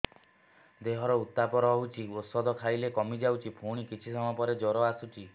ଦେହର ଉତ୍ତାପ ରହୁଛି ଔଷଧ ଖାଇଲେ କମିଯାଉଛି ପୁଣି କିଛି ସମୟ ପରେ ଜ୍ୱର ଆସୁଛି